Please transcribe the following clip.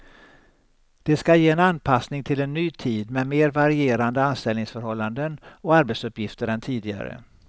Det ska ge en anpassning till en ny tid med mer varierande anställningsförhållanden och arbetsuppgifter än tidigare.